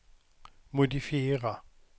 modifiera